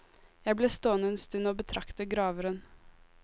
Jeg ble stående en stund og betrakte graveren.